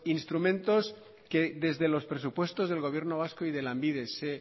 instrumentos que desde los presupuestos el gobierno vasco y de lanbide se